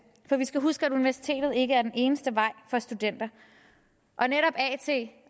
for vi skal huske at universitetet ikke er den eneste vej for studenter